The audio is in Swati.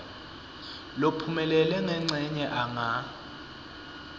lophumelele ngencenye anga